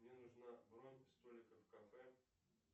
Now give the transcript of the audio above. мне нужна бронь столика в кафе